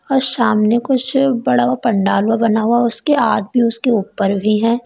और सामने कुछ बड़ा पंडाल बना हुआ है उसके आदमी आदमी उसके ऊपर भी हैं।